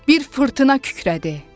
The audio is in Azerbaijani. Bir fırtına kükrədi.